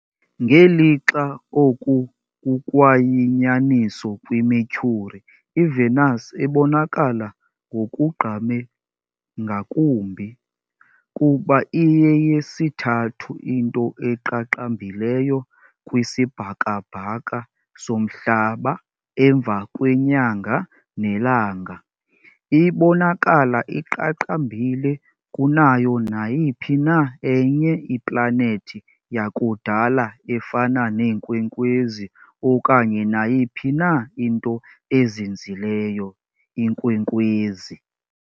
Ngelixa oku kukwayinyaniso kwiMercury, iVenus ibonakala ngokugqame ngakumbi, kuba iyeyesithathu into eqaqambileyo kwisibhakabhaka soMhlaba emva kweNyanga neLanga, ibonakala iqaqambile kunayo nayiphi na enye iplanethi yakudala efana neenkwenkwezi okanye nayiphi na into ezinzileyo . inkwenkwezi .